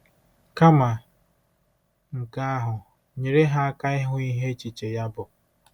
Kama nke ahụ, nyere ha aka ịhụ ihe echiche ya bụ.